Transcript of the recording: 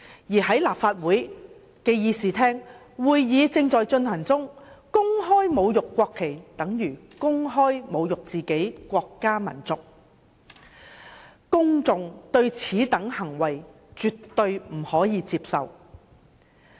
而在立法會的議事廳進行會議時公開侮辱國旗，等於公開侮辱自己的國家民族，公眾絕對不能接受此等行為。